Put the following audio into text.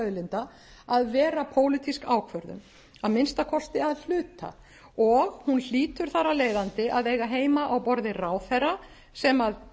auðlinda að vera pólitísk ákvörðun að minnsta kosti að hluta og hún hlýtur þar af leiðandi að eiga heima á borði ráðherra sem